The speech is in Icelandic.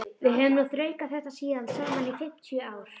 Við höfum nú þraukað þetta síðan saman í fimmtíu ár.